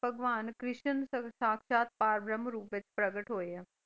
ਭਗਵਾਨ ਕ੍ਰਿਸ਼ਨ ਸੰਸਥਾਚਾ ਪ੍ਰਬਰਮ ਰੂਪ ਵਿੱਚ ਪ੍ਰਗਟ ਹੋਏ ਆ।